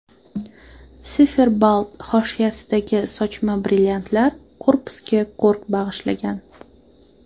Siferblat hoshiyasidagi sochma brilliantlar korpusga ko‘rk bag‘ishlagan.